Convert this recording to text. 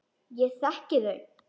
Ég þekki þau.